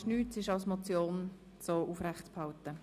Es ist nichts verändert worden.